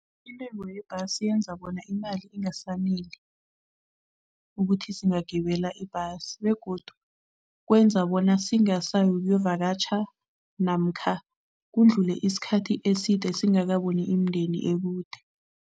Intengo yebhasi yenza bona imali ingasaneli ukuthi singagibela ibhasi begodu kwenza bona singasayi ukuyovakatjha namkha kudlule isikhathi eside singakaboni imindeni ekude.